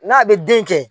N'a bɛ den kɛ